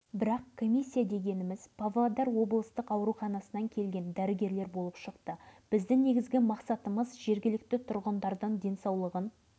енді бір-екі күннен кейін комиссия өз жұмысын аяқтап қорытындысын мәскеуге жіберетін көрінеді